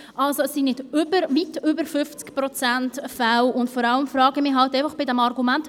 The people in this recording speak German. Es sind nicht weit über 50 Prozent der Fälle, und vor allem frage ich mich bei diesem Argument: